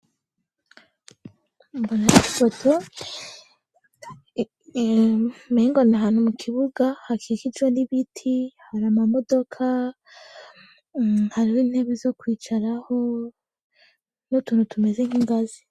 mbona ipoto umengo ni ahantu mu kibuga hakikijwe n'ibiti, hari amamodoka, hariho intebe zo kwicaraho n'utuntu tumeze nk'ingazi.